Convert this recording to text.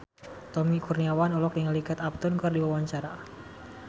Tommy Kurniawan olohok ningali Kate Upton keur diwawancara